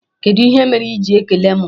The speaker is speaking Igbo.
Kedụ ihe mere iji ekele mụ?